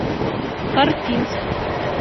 карпинск